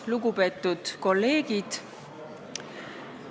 Lugupeetud kolleegid!